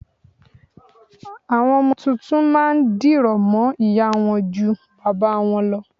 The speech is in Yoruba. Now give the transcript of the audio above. Àwọn ọmọ tuntun má a ndìrọ̀ mọ́ ìyá a wọn ju bàbá a wọn lọ